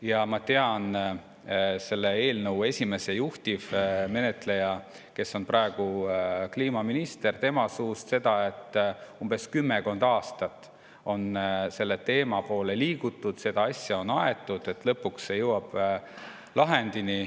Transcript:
Ja ma tean selle eelnõu esimese juhtivmenetleja käest, kes on praegu kliimaminister, et kümmekond aastat on selle poole liigutud, seda asja on aetud, ja nüüd lõpuks see jõuab lahendini.